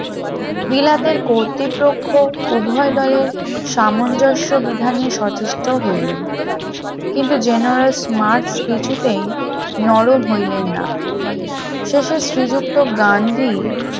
বিলাতের কর্তৃপক্ষ উভয় দলের সামঞ্জস্য বিধানে সচেষ্ট হইলেন কিন্তু জেনেরাল স্মার্ট কিছুতেই নরম হইলেন না শেষের শ্রীযুক্ত গান্ধী